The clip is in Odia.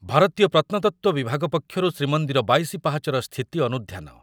ଭାରତୀୟ ପ୍ରତ୍ନତତ୍ତ୍ୱ ବିଭାଗ ପକ୍ଷରୁ ଶ୍ରୀମନ୍ଦିର ବାଇଶି ପାହାଚର ସ୍ଥିତି ଅନୁଧ୍ୟାନ।